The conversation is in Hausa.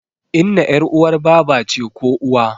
Inna ƴar uwar baba ce ko uwa